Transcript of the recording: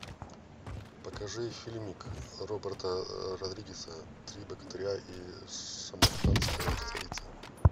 покажи фильмик роберта родригеса три богатыря и шамаханская царица